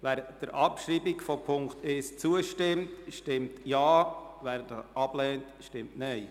Wer der Abschreibung von Punkt 1 zustimmt, stimmt Ja, wer dies ablehnt, stimmt Nein.